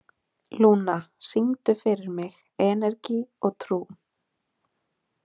Lúna, syngdu fyrir mig „Energi og trú“.